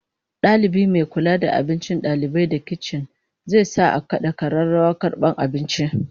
Dalibi mai kula da abincin dalibai da kicin zai sa a kada kararrawar karbar abinci